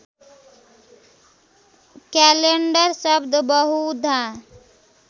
calendar शब्द बहुधा